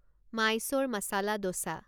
Mysore masala dosa